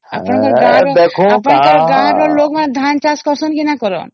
ଆପଣ ଗାଁ ର ଆପଣଙ୍କର ଗାଁ ର ଲୋକ ମାନେ ଧାନ ଚାଷ କରୁଛନ ନ ନାଇ କରୁଛନ